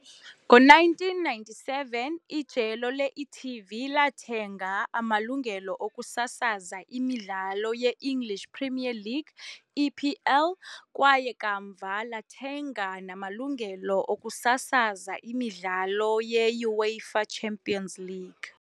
Ngo-1997, ijelo le-e.tv lathenga amalungelo okusasaza imidlalo ye-English Premier League, EPL, kwaye, kamva, lathenga namalungelo okusasaza imidlalo ye-UEFA Champions League .